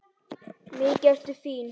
Mikið ertu fín!